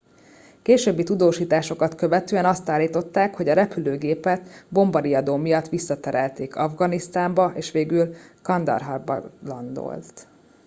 későbbi tudósításokat követően azt állították hogy a repülőgépet bombariadó miatt visszaterelték afganisztánba és végül kandaharban landolt